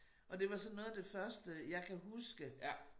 Og det var sådan noget af det første jeg kan huske